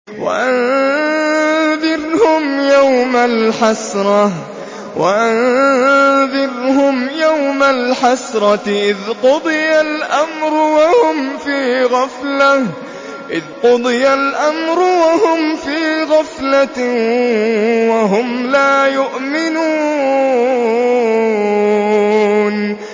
وَأَنذِرْهُمْ يَوْمَ الْحَسْرَةِ إِذْ قُضِيَ الْأَمْرُ وَهُمْ فِي غَفْلَةٍ وَهُمْ لَا يُؤْمِنُونَ